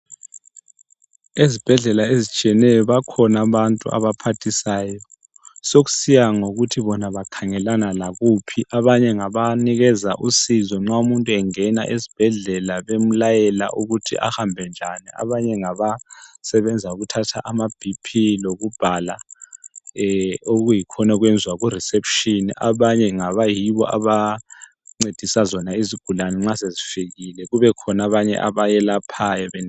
Ezibhedlela ezitshiyeneyo bakhona abantu abaphathisayo sokusiya ngokuthi bona bakhangelana lakuphi. Abanye ngabanikeza usizo nxa umuntu engena esibhedlela bemlayela ukuthi ahambe njani, abanye ngabasebenza ukuthatha amaBP lokubhala okuyikhona okwenzwa kureception, abanye ngaba yibo abancedisa zona izigulane nxa sezifikile kube khona abanye abayelaphayo.